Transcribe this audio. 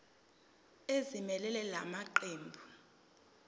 ezimelele la maqembu